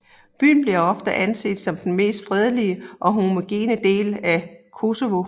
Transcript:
Byen bliver ofte anset som den mest fredelige og homogene delen av Kosovo